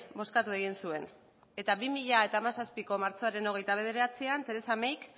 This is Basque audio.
bozkatu egin zuen eta bi mila hamazazpiko martxoaren hogeita bederatzian theresa mayk